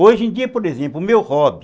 Hoje em dia, por exemplo, o meu hobby...